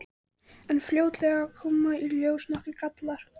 En fljótlega koma í ljós nokkrir gallar.